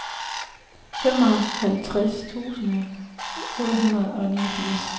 femoghalvtreds tusind otte hundrede og niogfirs